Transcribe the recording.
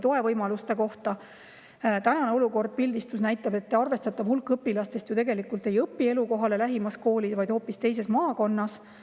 Tänase olukorra pildistus näitab, et arvestatav hulk õpilastest tegelikult ei õpi elukohale lähimas koolis, vaid hoopis teises maakonnas.